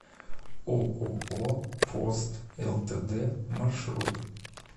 ооо пост лтд маршрут